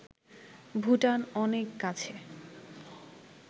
ভুটান অনেক কাছে